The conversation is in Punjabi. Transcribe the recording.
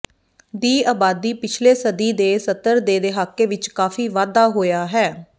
ਦੀ ਆਬਾਦੀ ਪਿਛਲੇ ਸਦੀ ਦੇ ਸੱਤਰ ਦੇ ਦਹਾਕੇ ਵਿਚ ਕਾਫ਼ੀ ਵਾਧਾ ਹੋਇਆ ਹੈ